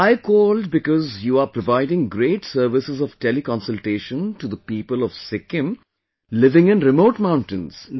Well, I called because you are providing great services of teleconsultation to the people of Sikkim, living in remote mountains